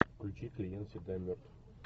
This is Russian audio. включи клиент всегда мертв